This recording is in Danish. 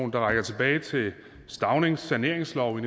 der rækker tilbage til staunings saneringslov i